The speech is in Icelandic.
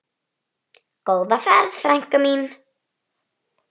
Góða ferð, frænka mín.